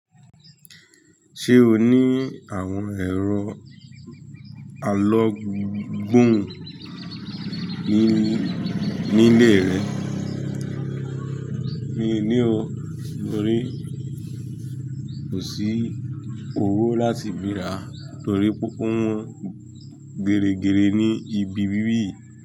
Ṣé o ní àwọn ẹ̀rọ alogbun nílé rẹ? Mi ò ní o, torí kò sí owó láti fi rà, torí púpọ̀ wọn gẹ̀rẹ̀gẹ̀rẹ̀ ní ibi wiwì.